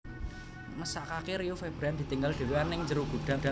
Mesakake Rio Febrian ditinggal dewean nang njero gudang